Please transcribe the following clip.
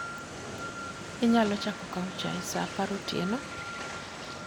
Inyalo chako kawo chai sa apar otieno?